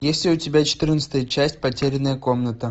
есть ли у тебя четырнадцатая часть потерянная комната